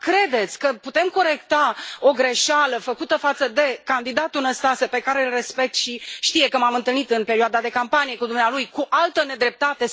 Dar credeți că putem corecta o greșeală făcută față de candidatul Năstase pe care îl respect și știe, că m am întâlnit în perioada de campanie cu dumnealui cu altă nedreptate?